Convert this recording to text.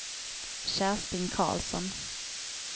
Kerstin Karlsson